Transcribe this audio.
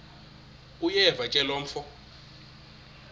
uyeva ke mfo